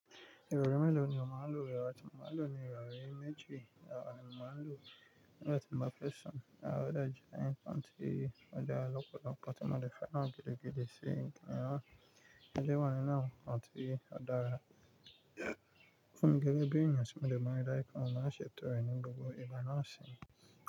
Ìgboro mélòó ni o máa lò? Ìrọra tí mo máa lò ni ìrọra méje. Ìrọra ni mo máa lò. Nígbà tí mo bá fẹ́ sùn, àwọn ọ̀dà jìnà inú, àti ó dára lọ́pọ̀lọpọ̀, àti mo le fẹ́ náà gidigidi sí i, kí n wá le wá nínú, àti ó dára fun mi gegebi èèyàn sì mo le mọ̀ ọ́n dára, kí wọ́n má ṣe tọrẹ nínú gbogbo ìgbà náà sì.